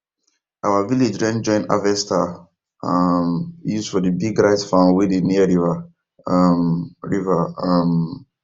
our village rent join harvester um use for the big rice farm wey dey near river um river um